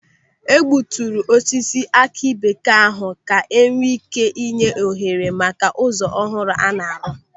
Egbuturu osisi aki bekee ahụ ka enwee ị́ké nye ohere maka ụzọ ọhụrụ a na-arụ.